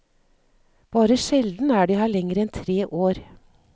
Bare sjelden er de her lenger enn tre år.